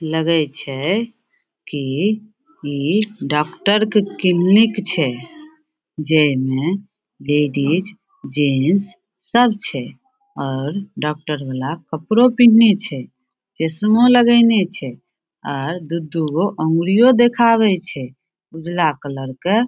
लगे छै कि इ डॉक्टर के क्लिनिक छै जेई में लेडीज जेंट्स सब छै और डॉक्टर वला कपड़ो पिंहना छै चश्मों लगेने छै आर दू-दू गो उंगलियों देखाबे छै ऊजरा कलर के।